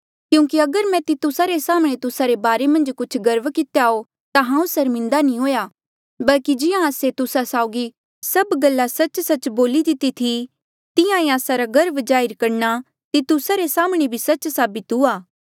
क्यूंकि अगर मैं तितुसा रे साम्हणें तुस्सा रे बारे मन्झ कुछ गर्व कितेया हो ता हांऊँ सर्मिन्दा नी हुआ बल्की जिहां आस्से तुस्सा साउगी सब गल्ला सच्च सच्च बोली दिती थी तिहां ईं आस्सा रा गर्व जाहिर करणा तितुसा रे साम्हणें भी सच्च साबित हुआ